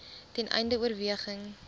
ten einde oorweging